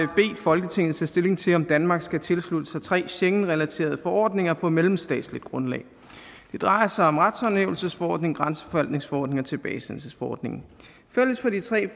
folketinget tage stilling til om danmark skal tilslutte sig tre schengenrelaterede forordninger på mellemstatsligt grundlag det drejer sig om retshåndhævelsesforordningen grænseforvaltningsforordningen og tilbagesendelsesforordningen fælles for de tre